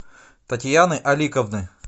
татьяны аликовны